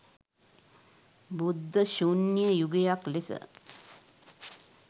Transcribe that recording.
බුද්ධ ශුන්‍ය යුගයක් ලෙස